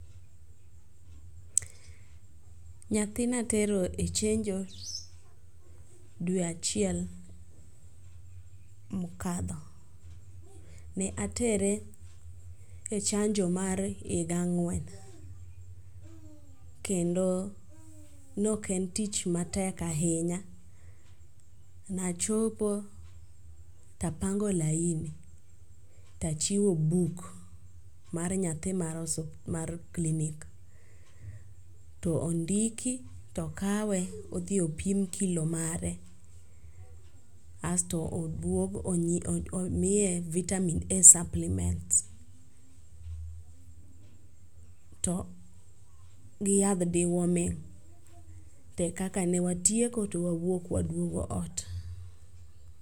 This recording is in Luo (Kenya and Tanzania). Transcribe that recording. Nyathi ne atero e chenjo dwe achiel mokalo. Ne atere e chanjo mar higa ang'wen kendo ne ok en tich matek ahinya. Ne achopo, tapango laini tachiwo buk mar nyathi mar hos mar klinik. To ondiki to okawe to odhi opim kilo mare kae to oduog omiye vitaminA supplements to gi yadh deworming. Be kaka ne watieko to wawuok waduogo ot.